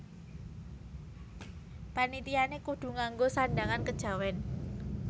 Panitiané kudu ngango sandhangan kejawèn